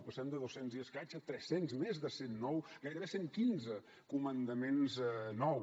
passem de dos cents i escaig a trescents més de cent nou gairebé cent quinze comandaments nous